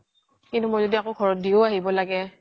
কিন্তু মই জদি আকৌ ঘৰত দিও আহিব লাগে